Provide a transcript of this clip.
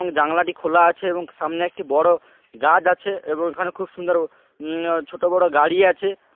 এবং জানলাটি খোলা আছে এবং সামনে একটি বড়ো গাছ আছে এবং ওখানে খুব সুন্দর উম-- ছোট বড়ো গাড়ি আছে।